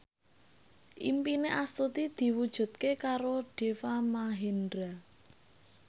impine Astuti diwujudke karo Deva Mahendra